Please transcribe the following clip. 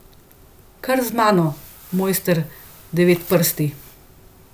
Kar z mano, mojster Devetprsti.